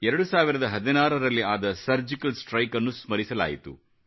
2016 ರಲ್ಲಿ ಆದ ಸರ್ಜಿಕಲ್ ಸ್ಟ್ರೈಕ್ನ್ನು ಸ್ಮರಿಸಲಾಯಿತು